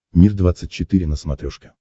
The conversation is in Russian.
мир двадцать четыре на смотрешке